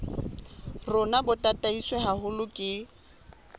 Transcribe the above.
rona bo tataiswe haholo ke